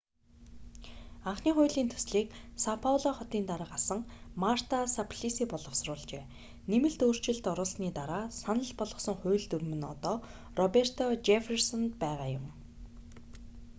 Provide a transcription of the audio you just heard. анхны хуулийн төслийг сао пауло хотын дарга асан марта саплиси боловсруулжээ нэмэлт өөрчлөлт оруулсаны дараа санал болгосон хууль дүрэм нь одоо роберто жефферсонд байгаа юм